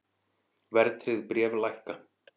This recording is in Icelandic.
Verðtryggð bréf lækka